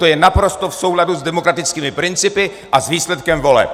To je naprosto v souladu s demokratickými principy a s výsledkem voleb!